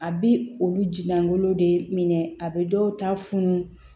A bi olu ji langolo de minɛ a bɛ dɔw ta funu